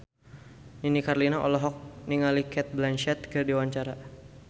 Nini Carlina olohok ningali Cate Blanchett keur diwawancara